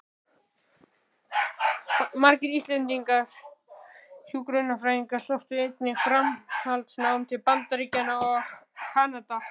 Margir íslenskir hjúkrunarfræðingar sóttu einnig framhaldsnám til Bandaríkjanna og Kanada.